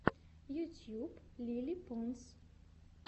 ютьюб лили понс